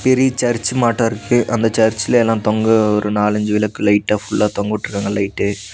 பெரிய சர்ச் மாட்ட இருக்கு அந்த சர்ச் ல எல்லாம் தொங்க ஒரு நாலஞ்சு விளக்கு லைட்டா ஃபுல் லா தொங்கவுட்டுருக்காங்க லைட்டு .